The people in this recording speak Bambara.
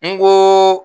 N ko